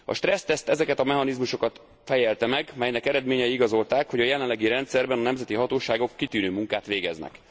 A stresszteszt ezeket a mechanizmusokat fejelte meg, melynek eredményei igazolták, hogy a jelenlegi rendszerben a nemzeti hatóságok kitűnő munkát végeznek.